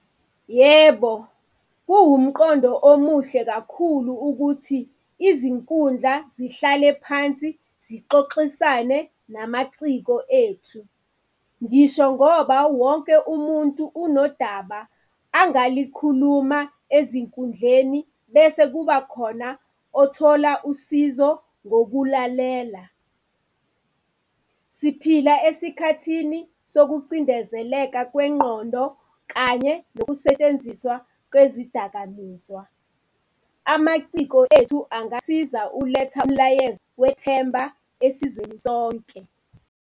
Yebo, kuwumqondo omuhle kakhulu ukuthi izinkundla zihlale phansi zixoxisane namaciko ethu. Ngisho ngoba wonke umuntu unodaba angalikhuluma ezinkundleni bese kubakhona othola usizo ngokulalela. Siphila esikhathini sokucindezeleka kwengqondo kanye nokusetshenziswa kwezidakamizwa. Amaciko ethu angasiza ukuletha umlayezo wethemba esizweni sonke.